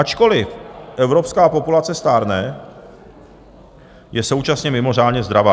Ačkoliv evropská populace stárne, je současně mimořádně zdravá.